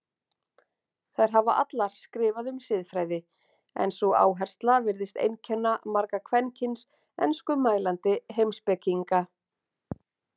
Þær hafa allar skrifað um siðfræði en sú áhersla virðist einkenna marga kvenkyns enskumælandi heimspekinga.